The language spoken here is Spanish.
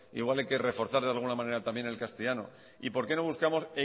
igual hay que reforzar de alguna manera también el castellano y por qué no buscamos